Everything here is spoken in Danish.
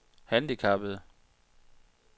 handicappede